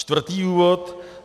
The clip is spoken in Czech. Čtvrtý důvod.